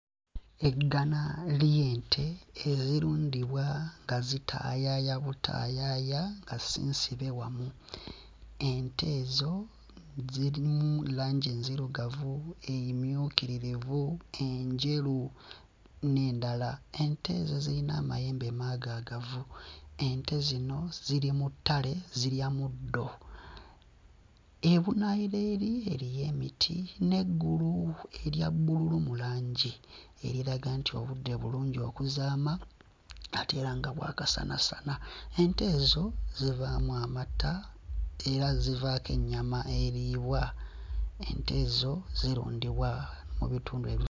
Eggana ly'ente ezirundibwa nga zitaayaaya butaayaaya nga si nsibe wamu. Ente ezo zirimu langi enzirugavu emmyukiririvu, enjeru n'endala. Ente ezo zirina amayembe maagaagavu, ente zino ziri mu ttale zirya muddo. Ebunaayira eri eriyo emiti n'eggulu erya bbululu mu langi, eriraga nti obudde bulungi okuzaama ate era nga bwa kasanasana. Ente ezo zivaamu amata era zivaako ennyama eriibwa, ente ezo zirundibwa mu bitundu ebi....